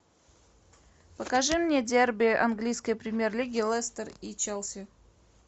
покажи мне дерби английской премьер лиги лестер и челси